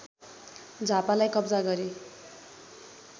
झापालाई कब्जा गरे